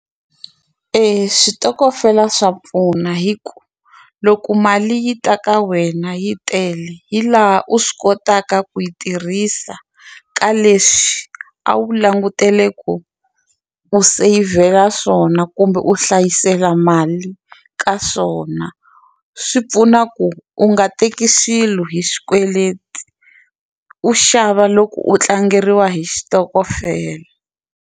Eya switokofela swa pfuna hi ku loko mali yi ta ka wena yi tele yi laha u swi kotaka ku yi tirhisa ka leswi a wu langutele ku u seyivhela swona kumbe u hlayisela mali ka swona swi pfuna ku u nga teki swilo hi xikweleti u xava loko u tlangeriwa hi xitokofela.